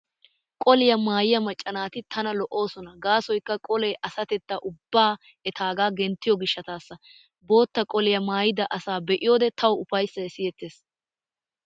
Qoliyaa maayiyaa macca naati tana lo'oosona gaasoykka qolee asatettaa ubbay etaagaa genttiyo gishshataassa . Bootta qoliyaa maayda asaa be'iyoode tawu ufayssay siyettees.